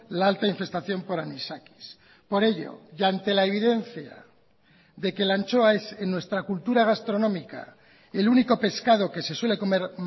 la alta infestación por anisakis por ello y ante la evidencia de que la anchoa es en nuestra cultura gastronómica el único pescado que se suele comer